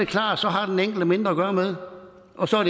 klart at så har den enkelte mindre at gøre med og så er